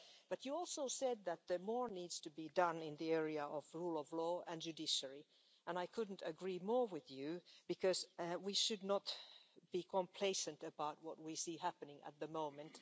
But you also said that more needs to be done in the area of the rule of law and the judiciary, and I couldn't agree more with you because we should not be complacent about what we see happening at the moment.